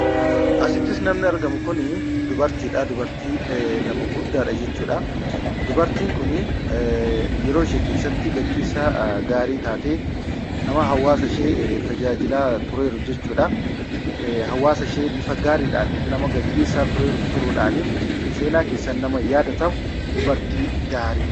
Asitti namni argamtu Kun dubartiidha. Dubartiin kun nama guddaadha jechuudha. Dubartiin kun yeroo ishee keessatti gaggeessaa gaarii taatee nama hawaasa ishee tajaajilaa turtedha jechuudha. Hawaasa ishee seeraan gaggeessuudhaan nama seenaa keessatti beekkamtudha.